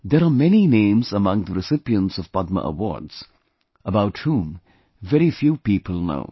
There are many names among the recipients of Padma awards, about whom very few people know